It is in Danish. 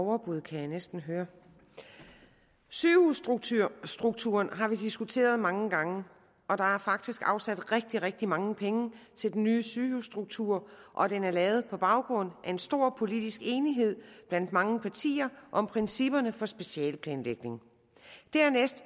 overbud kan jeg næsten høre sygehusstrukturen har vi diskuteret mange gange og der er faktisk afsat rigtig rigtig mange penge til den nye sygehusstruktur og den er lavet på baggrund af en stor politisk enighed blandt mange partier om principperne for specialeplanlægning dernæst